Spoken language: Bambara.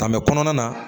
Ka mɛ kɔnɔna na